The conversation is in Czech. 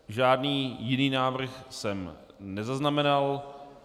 Žádný jiný návrh jsem nezaznamenal.